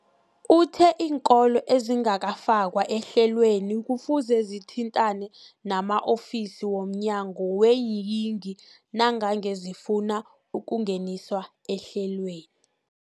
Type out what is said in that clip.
Uthe iinkolo ezingakafakwa ehlelweneli kufuze zithintane nama-ofisi womnyango weeyingi nangange zifuna ukungeniswa ehlelweni.